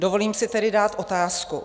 Dovolím si tedy dát otázku.